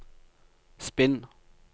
spinn